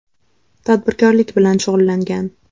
Tadbirkorlik bilan shug‘ullangan.